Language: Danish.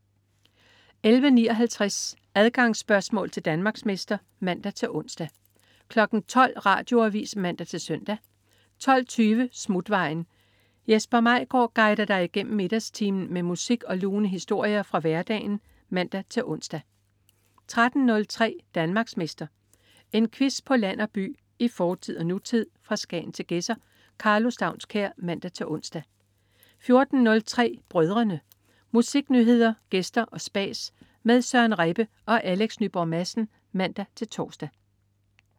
11.59 Adgangsspørgsmål til Danmarksmester (man-ons) 12.00 Radioavis (man-søn) 12.20 Smutvejen. Jesper Maigaard guider dig igennem middagstimen med musik og lune historier fra hverdagen (man-ons) 13.03 Danmarksmester. En quiz på land og by, i fortid og nutid, fra Skagen til Gedser. Karlo Staunskær (man-ons) 14.03 Brødrene. Musiknyheder, gæster og spas med Søren Rebbe og Alex Nyborg Madsen (man-tors)